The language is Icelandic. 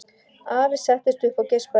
Afi settist upp og geispaði.